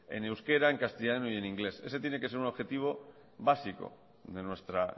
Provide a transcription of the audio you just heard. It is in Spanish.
en euskera castellano y en inglés ese tiene que ser un objetivo básico de nuestra